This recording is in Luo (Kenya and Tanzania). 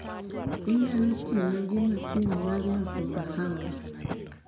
Inyalo ting'a gi masin mar loso kahawa.